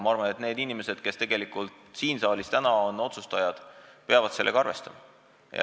Ma arvan, et need inimesed, kes tegelikult on siin saalis täna otsustajad, peavad sellega arvestama.